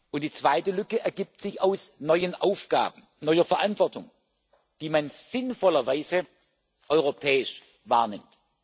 Und die zweite Lücke ergibt sich aus neuen Aufgaben, neuer Verantwortung, die man sinnvollerweise europäisch wahrnimmt.